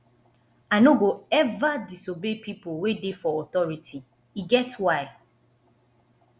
i no go eva disobey pipo wey dey for authority e get why